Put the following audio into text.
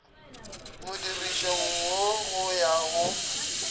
modirišong wo go ya go